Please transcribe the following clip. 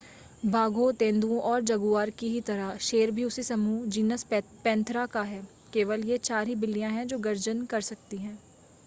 बाघों तेंदुओं और जगुआर की ही तरह शेर भी उसी समूह जीनस पैंथेरा का है। केवल ये चार ही बिल्लियाँ हैं जो गर्जन कर सकती हैं।